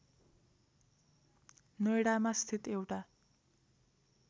नोएडामा स्थित एउटा